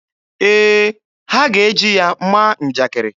Ee, ha ga-eji ya maa njakiri.